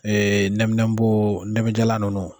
nɛminɛpo ntalajala ninnu.